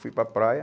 Fui para a praia.